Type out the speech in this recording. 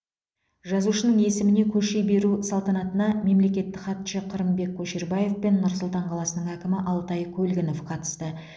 жазушының есіміне көше беру салтанатына мемлекеттік хатшы қырымбек көшербаев пен нұр сұлтан қаласының әкімі алтай көлгінов қатысты